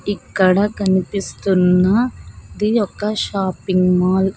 ఇక్కడ కనిపిస్తున్న ది ఒక్క షాపింగ్ మాల్ --